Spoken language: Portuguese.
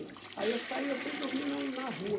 Aí eu saí e eu fui dormir no na rua.